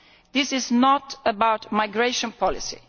This is not about migration policy.